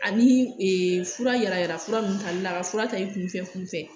Ani fura yala yala fura nunnu tali la a ka fura ta i kun fɛ kun fɛ